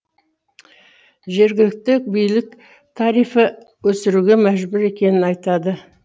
жергілікті билік тарифі өсіруге мәжбүр екенін айтады